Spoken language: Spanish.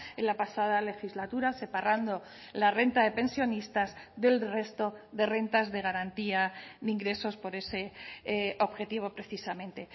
en la pasada legislatura separando la renta de pensionistas del resto de rentas de garantía de ingresos por ese objetivo precisamente